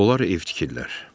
Onlar ev tikirlər.